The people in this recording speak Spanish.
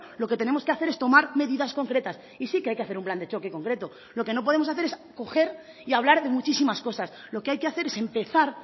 lo que tenemos que hacer es tomar medidas concretas y sí que hay que hacer un plan de choque concreto lo que no podemos hacer es coger y hablar de muchísimas cosas lo que hay que hacer es empezar